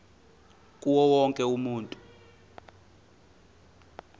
kuwo wonke umuntu